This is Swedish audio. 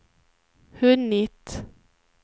hunnit